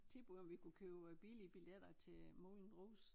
Tilbud om vi kunne købe øh billige billetter til øh Moulin Rouge